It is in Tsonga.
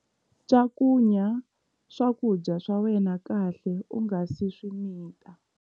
Cakunya swakudya swa wena kahle u nga si swi mita.